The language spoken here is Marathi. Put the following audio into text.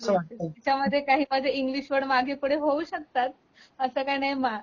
त्याच्यामध्ये काय आहे इंग्लिश वर्ड माझे मागे पुढे होऊ शकतात असं काही नाही